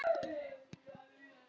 Hann er það bara.